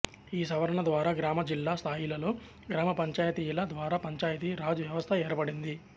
ఈ సవరణ ద్వారా గ్రామ జిల్లా స్థాయిలలో గ్రామ పంచాయతీల ద్వారా పంచాయితీ రాజ్ వ్యవస్థ ఏర్పడింది